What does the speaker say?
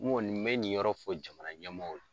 N kɔni, n bɛ nin yɔrɔ fɔ jamana ɲɛmɔgɔw ye